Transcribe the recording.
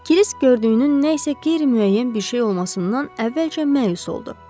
Kirisk gördüyünün nəsə qeyri-müəyyən bir şey olmasından əvvəlcə məyus oldu.